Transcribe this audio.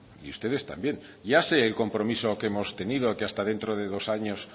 y ustedes también ya sé el compromiso que hemos tenido que hasta dentro de dos años